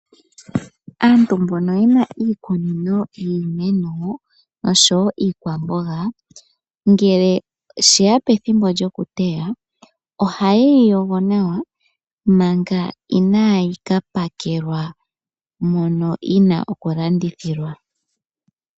Aantu mbono yena iikunino yiimeno oshowo iikwamboga ngele she ya pethimbo lyo ku teya, ohaye yi yogo nawa manga inaa yi ka pakelwa mono yi na okulandithilwa.